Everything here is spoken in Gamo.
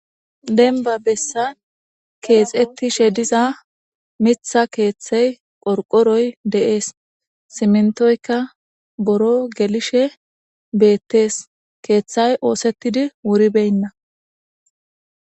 Dembba bessan keexettishe diza mitha keeththey qorqoroy de7ees. Siminttoykka buro gelishe beettees. Keeththay oosettidi wuribeynna.